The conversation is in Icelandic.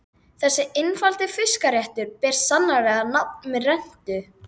Þessi einfaldi fiskréttur ber sannarlega nafn með rentu.